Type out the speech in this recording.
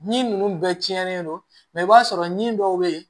Ni ninnu bɛɛ cɛnnen don i b'a sɔrɔ min dɔw bɛ yen